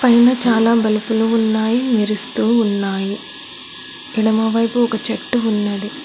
పైన చాలా బలుపులు ఉన్నాయి మెరుస్తూ ఉన్నాయి ఎడమవైపు ఒక చెట్టు ఉన్నది.